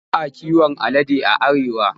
Ba a kiwon alade a Arewa.